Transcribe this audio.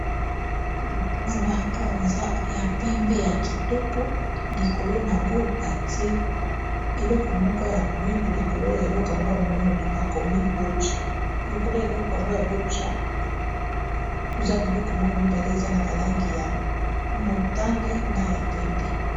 gate wana a eza ya pembe ya kitoko likolo na yango badie eleko moko ya mwindu likolo ya eleko yango ya moyundu bakomi bocha likolo eloko yango ya boca toza biloko moko mibale eza na balangi ya motane na ya pembe